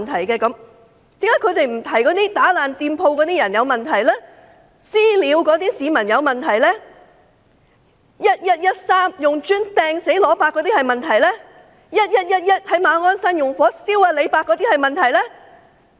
為何他們卻不提及那些破壞店鋪、"私了"市民、在11月13日用磚頭擲死"羅伯"，以及在11月11日於馬鞍山縱火燒傷"李伯"的那些人有問題呢？